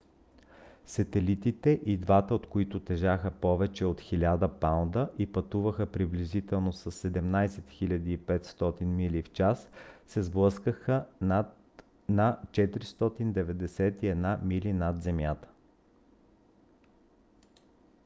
сателитите и двата от които тежаха повече от 1000 паунда и пътуваха приблизително с 17 500 мили в час се сблъскаха на 491 мили над земята